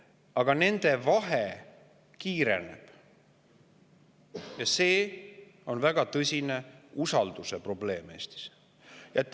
Aga nende vahe suureneb ja seetõttu on Eestis väga tõsine usaldusprobleem.